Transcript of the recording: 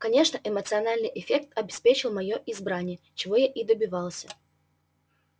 конечно эмоциональный эффект обеспечил моё избрание чего я и добивался